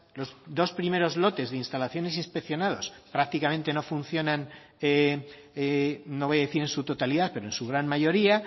los dos primeros lotes de instalaciones inspeccionados prácticamente no funcionan no voy a decir en su totalidad pero en su gran mayoría